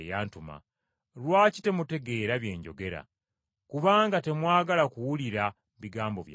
Lwaki temutegeera bye njogera? Kubanga temwagala kuwulira bigambo byange.